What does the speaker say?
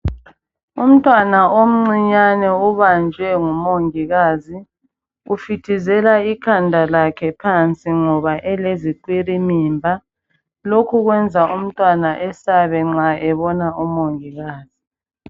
Umntwana omncinyane ubanjwe ngumongikazi ufitizela ikhanda lakhe phansi ngoba elezikhwelimimba lokhu kwenza umntwana eyesabe nxa ebona omongikazi